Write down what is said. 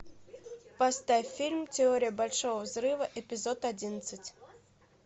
поставь фильм теория большого взрыва эпизод одиннадцать